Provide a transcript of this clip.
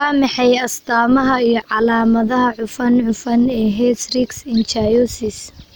Waa maxay astamaha iyo calaamadaha cufan cufan ee hystrix Ichthyosis?